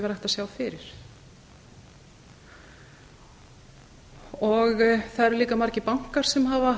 að sjá fyrir það eru líka margir bankar sem hafa